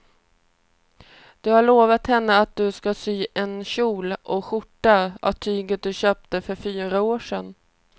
Du har lovat henne att du ska sy en kjol och skjorta av tyget du köpte för fyra år sedan.